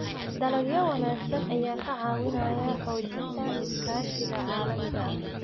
Dalagyo wanaagsan ayaa ka caawiya xoojinta iskaashiga caalamiga ah.